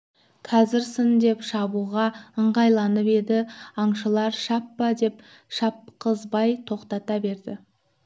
қазір сын деп шабуға ыңғайланып еді аңшылар шаппа деп шапқызбай тоқтата берді